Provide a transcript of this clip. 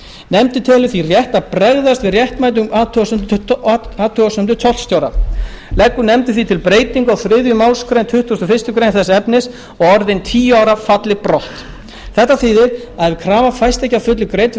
nefndin telur rétt að bregðast við réttmætum athugasemdum tollstjóra leggur hún því til breytingu á þriðju málsgrein tuttugustu og fyrstu greinar þess efnis að orðin tíu ára falli brott þetta þýðir að ef krafa fæst ekki að fullu greidd við